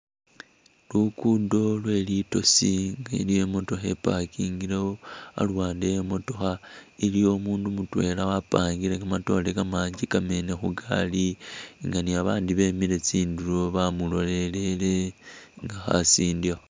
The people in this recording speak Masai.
Lukudo lwe litosi nga eyi niyo imotookha i'parkingilewo ,aluwande e'motookha iliwo umundu mutwela wapangile kamatoore kamanji kamene khugari nga ni babandi bemile tsindulo bamulolelele nga khasindikha